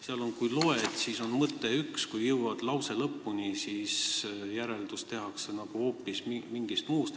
Kui lause algust loed, siis on mõte üks ja kui lause lõpuni jõuad, tehakse järeldus nagu hoopis mingist muust asjast.